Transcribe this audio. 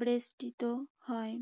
বিস্তৃত হয়।